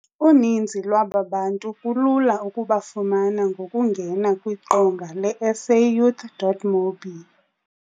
Uninzi lwaba bantu kulula ukubafumana ngokungena kwiqonga le-SAYouth.mobi.